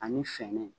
Ani fɛɛrɛ